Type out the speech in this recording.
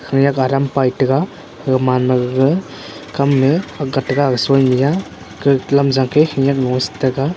pit te ga gaga man ma gaga kam ley agat te ga soi ne a .